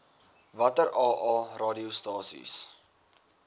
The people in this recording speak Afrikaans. watter aa radiostasies